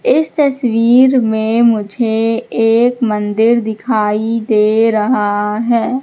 इस तस्वीर में मुझे एक मंदिर दिखाई दे रहा है।